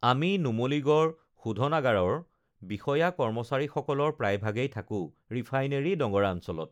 আমি নুমলীগড় শোধনাগাৰৰ বিষয়া কৰ্মচাৰীসকলৰ প্ৰায়ভাগেই থাকো ৰিফাইনেৰী নগৰাঞ্চলত